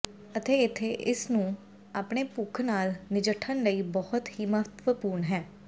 ਅਤੇ ਇੱਥੇ ਇਸ ਨੂੰ ਆਪਣੇ ਭੁੱਖ ਨਾਲ ਨਜਿੱਠਣ ਲਈ ਬਹੁਤ ਹੀ ਮਹੱਤਵਪੂਰਨ ਹੈ